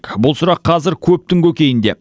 бұл сұрақ қазір көптің көкейінде